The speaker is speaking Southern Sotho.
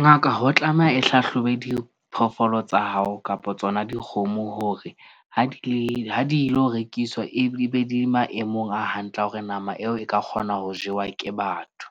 Ngaka ho tlameha e hlahlobe diphoofolo tsa hao kapo tsona dikgomo hore ha di ke ha di lo rekiswa e be di maemong a hantle a hore nama eo e ka kgona ho jewa ke batho.